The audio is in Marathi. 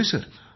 होय सर